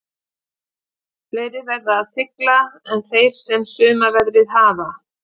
Fleiri verða að sigla en þeir sem sumarveðrið hafa.